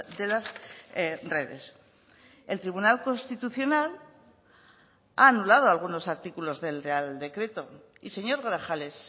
de las redes el tribunal constitucional ha anulado algunos artículos del real decreto y señor grajales